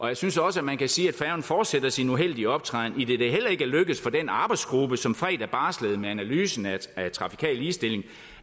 jeg synes også at man kan sige at færgen fortsætter sin uheldige optræden idet det heller ikke er lykkedes for den arbejdsgruppe som fredag barslede med en analyse af trafikal ligestilling